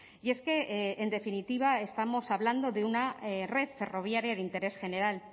y es que en definitiva estamos hablando de una red ferroviaria de interés general